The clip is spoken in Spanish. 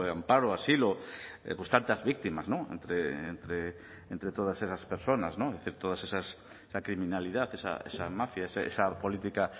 amparo asilo pues tantas víctimas no entre todas esas personas es decir toda esa criminalidad esa mafia esa política